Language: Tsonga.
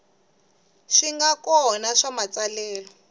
swi nga kona swa matsalelo